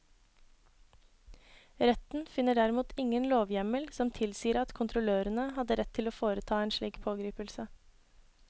Retten finner derimot ingen lovhjemmel som tilsier at kontrollørene hadde rett til å foreta en slik pågripelse.